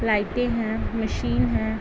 लाइटें हैं मशीन हैं।